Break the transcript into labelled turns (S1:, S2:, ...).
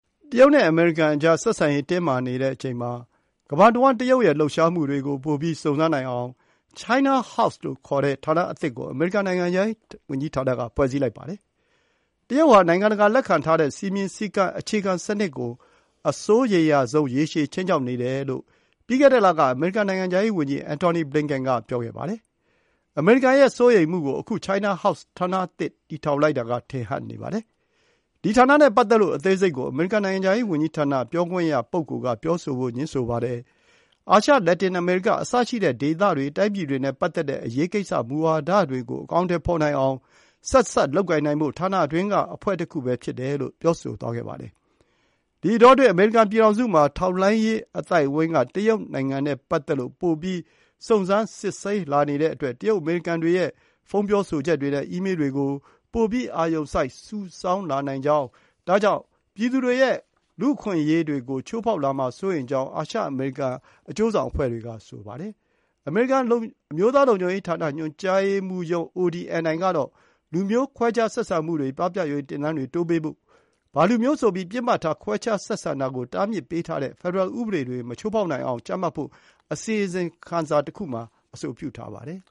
S1: တရုတ်နဲ့ အမေရိကန်ကြား ဆက်ဆံရေးတင်းမာနေချိန်မှာပဲ ကမ္ဘာတဝှမ်း တရုတ်ရဲ့ လှုပ်ရှားမှုတွေကို ပိုပြီး စုံစမ်းနိုင်အောင် China House လို့ ခေါ်တဲ့ ဌာနအသစ်ကို အမေရိကန် နိုင်ငံခြားရေးဝန်ကြီးဌာနက ဖွဲ့စည်းလိုက်ပါတယ်။ တရုတ်ဟာ နိုင်ငံတကာလက်ခံထားတဲ့ စည်းမျဉ်းစည်းကမ်း အခြေခံစနစ်ကို အစိုးရိမ်ရဆုံး ရေရှည် ခြိမ်းခြောက်နေတယ်လို့ ပြီးခဲ့တဲ့လက အမေရိကန်နိုင်ငံခြားရေးဝန်ကြီး Antony Blinken ပြောခဲ့ပါတယ်။ အမေရိကန်ရဲ့စိုးရိမ်မှုကို အခု China House ဌာနသစ် တည်ထောင်လိုက်တာက ထင်ဟပ်နေပါတယ်။ ဒီဌာနနဲ့ပတ်သက်လို့ အသေးစိတ်ကို အမေရိကန် နိုင်ငံခြားရေးဝန်ကြီးဌာန ပြောခွင့်ရ ပုဂ္ဂိလ်က ပြောဆိုဖို့ ငြင်းဆိုပါတယ်။ အာရှ၊ လက်တင်အမေရိက အစရှိတဲ့ ဒေသတွေ၊ တိုင်းပြည်တွေနဲ့ ပတ်သက်တဲ့ အရေးကိစ္စ၊ မူဝါဒတွေကို အကောင်အထည်ဖေါ်နိုင်အောင် ဆက်စပ်လုပ်ကိုင်နိုင်ဖို့ ဌာနအတွင်းက အဖွဲ့တခုပဲဖြစ်တယ်လို့ ပြောဆိုသွားပါတယ်။ ဒီအတောအတွင်း အမေရိကန်ပြည်ထောင်စုမှာ ထောက်လှမ်းရေးအသိုက်အဝိုင်းက တရုတ် နိုင်ငံနဲ့ပတ်သက်လို့ ပိုပြီး စုံစမ်း စစ်ဆေးလာနေတဲ့အတွက် တရုတ် အမေရိကန်တွေရဲ့ ဖုံးပြောဆိုချက်တွေနဲ့ အီးမေးတွေကို ပိုပြီး အာရုံစိုက် စုဆောင်းလာနိုင်ကြောင်း၊ ဒါကြောင့် ပြည်သူတွေရဲ့ အခွင့်အရေးကို ချိုးဖေါက်လာမှာ စိုးရိမ်ကြောင်း အာရှ အမေရိကန် အကျိုးဆောင်အဖွဲ့တွေက ပြောဆိုပါတယ်။ အမေရိကန် အမျိုးသားလုံခြုံရေး ညွှန်ကြားရေးမှူးရုံး ODNI ကတော့ လူမျိုး ခွဲခြားဆက်ဆံမှုတွေ ပပျောက်ရေး သင်တန်းတွေ တိုးပေးဖို့နဲ့ ဘာလူမျိုးဆိုပြီး ပစ်မှတ်ထား ခွဲခြားဆက်ဆံတာကို တားမြစ်ပေးထားတဲ့ ဖက်ဒရယ် ဥပဒေတွေကို မချိုးဖေါက်နိုင်အောင် ကြပ်မတ်ဖို့ အစီရင်ခံစာသစ်တခုမှာ အဆိုပြုထားပါတယ်